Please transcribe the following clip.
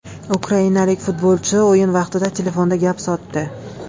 Ukrainalik futbolchi o‘yin vaqtida telefonda gap sotdi.